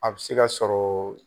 A bɛ se ka sɔrɔ